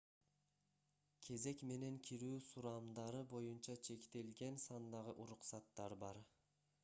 кезек менен кирүү сурамдары боюнча чектелген сандагы уруксаттар бар